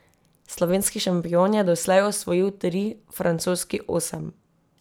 Slovenski šampion je doslej osvojil tri, francoski osem.